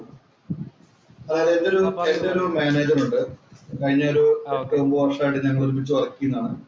അതായത് എന്‍റെ ഒരു മാനേജര്‍ ഉണ്ട്. കഴിഞ്ഞ ഒരു ഒമ്പത് വര്‍ഷമായിട്ടു ഞങ്ങള്‍ ഒരുമ്മിച്ചു work ചെയ്യുന്നതാണ്‌.